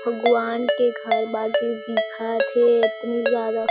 भगवान के घर बाकि दिखत हे इतनी ज्यादा--